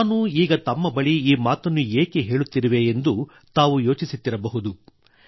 ನಾನು ಈಗ ತಮ್ಮ ಬಳಿ ಈ ಮಾತನ್ನು ಏಕೆ ಹೇಳುತ್ತಿರುವೆ ಎಂದು ತಾವು ಯೋಚಿಸುತ್ತಿರಬಹುದು